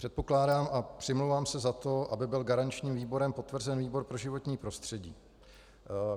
Předpokládám a přimlouvám se za to, aby byl garančním výborem potvrzen výbor pro životní prostředí.